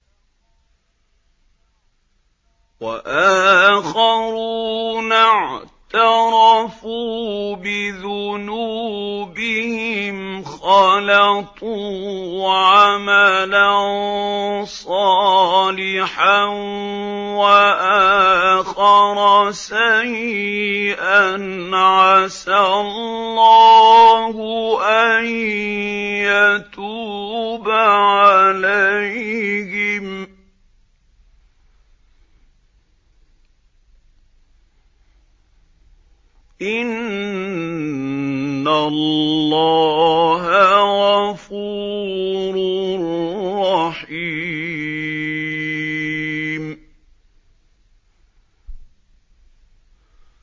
وَآخَرُونَ اعْتَرَفُوا بِذُنُوبِهِمْ خَلَطُوا عَمَلًا صَالِحًا وَآخَرَ سَيِّئًا عَسَى اللَّهُ أَن يَتُوبَ عَلَيْهِمْ ۚ إِنَّ اللَّهَ غَفُورٌ رَّحِيمٌ